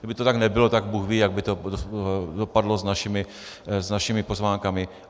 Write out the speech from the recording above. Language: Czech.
Kdyby to tak nebylo, tak bůh ví, jak by to dopadlo s našimi pozvánkami.